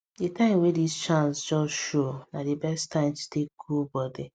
the time wey this chance just show na the best time to take cool body